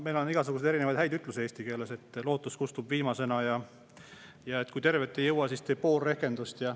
Meil on igasuguseid erinevaid häid ütlusi eesti keeles, näiteks "lootus kustub viimasena" ja "kui tervet ei jõua, tee pool rehkendust".